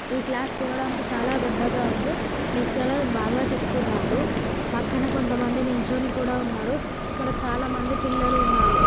ఈ క్లాస్ చూడడానికి చాలా పెద్దగా ఉంది లెక్చరర్ బాగా చెపుతున్నాడు. పక్కన కొంత మంది నిల్చోని కూడా ఉన్నారు. ఇక్కడ చాలా మంది పిల్లలు ఉన్నారు.